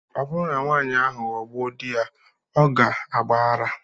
Ọ bụrụ na nwanyị ahụ aghọgbu di ya, ọ ga-agba ara.